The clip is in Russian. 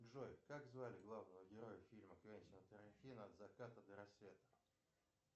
джой как звали главного героя фильма квентина тарантино от заката до рассвета